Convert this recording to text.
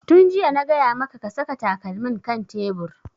Tun jiya na gaya maka ka saka takalmin kan tebur!